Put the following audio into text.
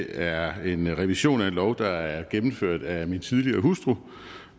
er en revision af en lov der er gennemført af min tidligere hustru